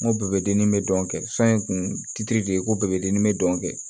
N ko bɛɛ bɛ dennin bɛ dɔn kɛ sɔntiri de ye ko bɛɛ bɛ dimi n bɛ dɔn kɛ